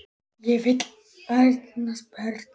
Hann vildi eignast börn.